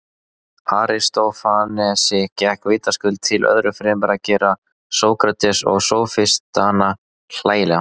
Aristófanesi gekk vitaskuld til öðru fremur að gera Sókrates og sófistana hlægilega.